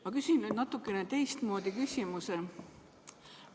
Ma küsin nüüd natukene teistmoodi küsimuse.